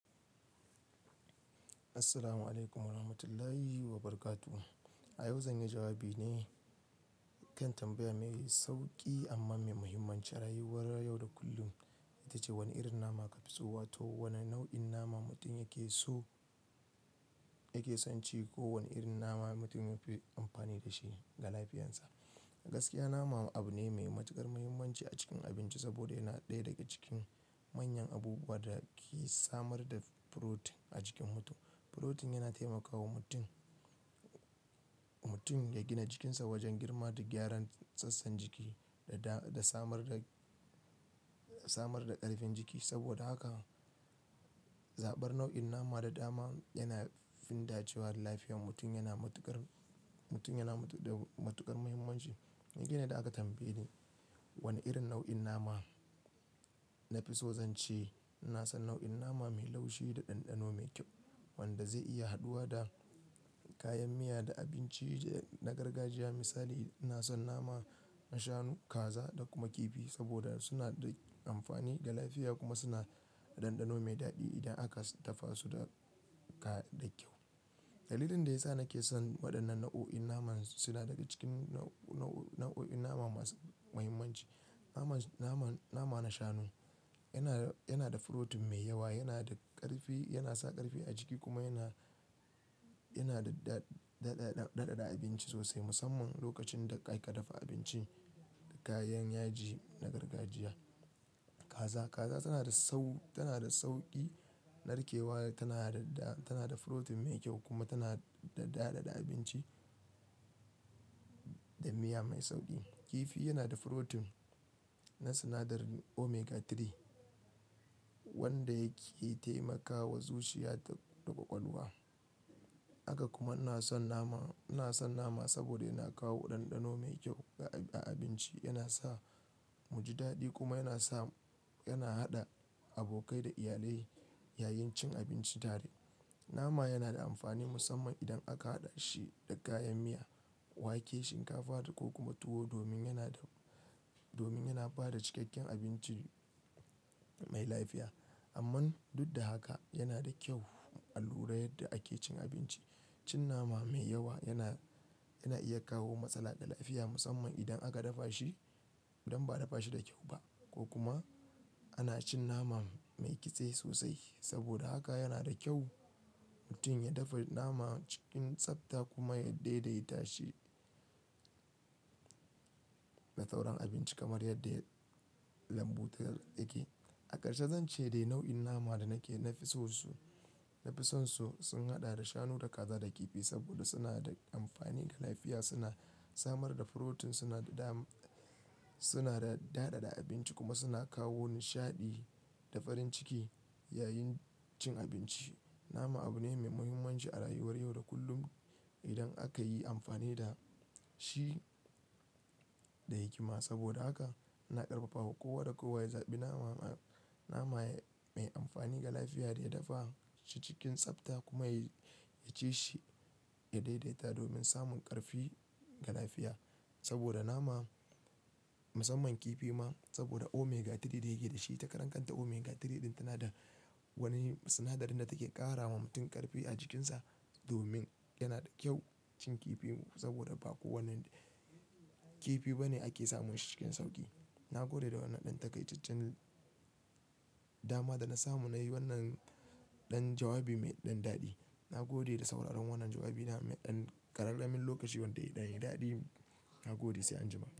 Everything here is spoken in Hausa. Assalamu alaikum wa rahmatullahi wa barakatuh. A yau zan yi jawabi ne kan tambaya mai sauki amma mai muhimmanci rayuwar yau da kullum, itace wane irin nama ka fi so wato wane nau'in nama mutum yake so yake son ci ko wane irin nama mutum ya fi amfani da shi ga lafiyansa. Gaskiya nama abu ne mai matuƙar muhimmanci a cikin abinci saboda yana ɗaya daga cikin manyan abubuwa da ke samar da furotin a jikin mutum. Furotin yana taimakawa mutum, mutum ya gina jikinsa wajen girma da gyaran sassan jiki da samar da, samar da ƙarfin jiki. Saboda haka, zaɓar nau'in nama da dama yana fin dacewa da lafiyar mutum yana matuƙar, mutum yana da matuƙar muhimmanci. Ni kain da aka tambaye ni wane irin nau'in nama na fi so zance. Ina san nau'in nama mai laushi da ɗanɗano mai kyau wanda zai iya haɗuwa da kayan miya da abinci na gargajiya. Misali, ina san nama na shanu, kaza da kuma kifi saboda suna da amfani ga lafiya kuma suna da ɗanɗano mai daɗi idan aka dafa su da kyau da kyau. Dalilin da ya sa nake son waɗannan nau'o'in naman suna daga cikin nau'o'in nama masu muhimmanci. Nama, nama, nama na shanu yana, yana da furotin mai yawa, yana da ƙarfi, yana sa ƙarfi a jiki kuma yana, yana da daɗaɗa abinci sosai musamman lokacin da aka dafa abinci da kayan yaji na gargajiya. Kaza, kaza tana da sau, tana da sauƙi narkewa, tana da, tana da furotin mai kyau kuma tana da daɗaɗa abinci da miya mai sauƙi. Kifi yana da furotin na sinadarin omega 3 wanda yake taimakawa zuciya da ƙwaƙwalwa. Haka kuma ina son nama, ina son nama saboda yana kawo ɗanɗano mai kyau a abinci, yana sa mu ji daɗi kuma yana sa, yana haɗa abokai da iyalai yayin cin abinci tare. Nama yana da amfani musamman idan aka haɗa shi da kayan miya, wake, shinkafa ko kuma tuwo domin yana da, domin yana ba da cikakken abinci mai lafiya. Amman duk da haka yana da kyau a lura yadda ake cin abinci. Cin nama mai yawa yana, yana iya kawo matsala ga lafiya musamman idan aka dafa shi idan ba a dafa shi da kyau ba ko kuma ana cin nama mai kitse sosai. Saboda haka yana da kyau mutum ya dafa nama cikin tsabta kuma ya daidaita shi da sauran abinci kamar yadda lambu take. A ƙarshe zan ce dai nau'in nama da nake, nafi so su, nafi son su sun haɗa da shanu, da kaza, da kifi saboda suna da amfani ga lafiya. Suna samar da furotin, suna da da, suna da daɗaɗa abinci kuma suna kawo nishaɗi da farin ciki yayin cin abinci. Nama abu ne mai muhimmanci a rayuwar yau da kullum idan aka yi amfani da shi da hikima. Saboda haka ina ƙarfafawa kowa da kowa ya zaɓi nama, nama mai amfani ga lafiya da ya dafa shi cikin tsabta kuma ya, ya ci shi, ya daidaita domin samun ƙarfi ga lafiya. Saboda nama musamman kifi ma saboda omega 3 da yake da shi. Ita karan kanta omega 3 ɗin tana da wani sinadari da take ƙara wa mutum ƙarfi a jikinsa domin yana da kyau cin kifi saboda ba kowane kifi bane ake samun shi cikin sauƙi. Na gode da wannan ɗan takaitaccen dama da na samu na yi wannan ɗan jawabi mai ɗan daɗi. Na gode da sauraron wannan jawabi nawa mai ɗan ƙararramin lokaci wanda ya yi daɗi. Na gode sai an jima.